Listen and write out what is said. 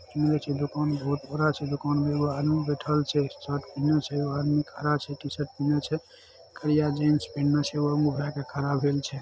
दुकान बहुत बड़ा दुकान छे आदमी खड़ा छे टी शर्ट पहेनो छे खरिया जिन्स पहेन है मुह रा क खड़ा छे।